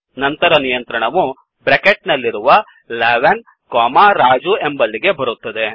ನಂತರ ನಿಯಂತ್ರಣವು ಬ್ರೆಕೆಟ್ ನಲ್ಲಿರುವ 11 ಕೊಮಾ ರಾಜು ಎಂಬಲ್ಲಿಗೆ ಬರುತ್ತದೆ